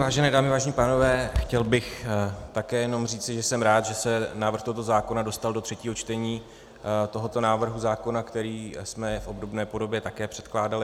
Vážené dámy, vážení pánové, chtěl bych také jenom říci, že jsem rád, že se návrh tohoto zákona dostal do třetího čtení tohoto návrhu zákona, který jsme v obdobné podobě také předkládali.